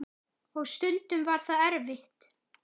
Og stundum var það erfitt.